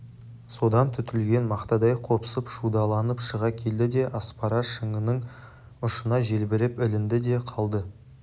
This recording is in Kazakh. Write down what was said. содан түтілген мақтадай қопсып шудаланып шыға келді де аспара шыңының ұшына желбіреп ілінді де қалды